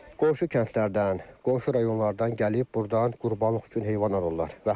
Qonşu kəndlərdən, qonşu rayonlardan gəlib burdan qurbanlıq üçün heyvan alırlar.